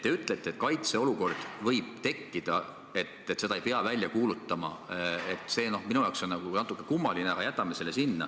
Te ütlete, et kaitseolukord võib tekkida, et seda ei pea välja kuulutama, see on minu jaoks natuke kummaline, aga jätame selle.